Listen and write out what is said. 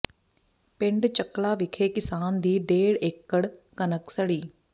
ਪਿੰਡ ਚੱਕਲਾਂ ਵਿਖੇ ਕਿਸਾਨ ਦੀ ਡੇਢ ਏਕੜ ਕਣਕ ਸੜੀ